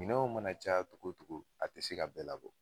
Minɛnw mana ca cogo cogo cogo, a te se ka bɛɛ labɔ.